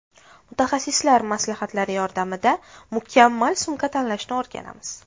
Mutaxassislar maslahatlari yordamida mukammal sumka tanlashni o‘rganamiz.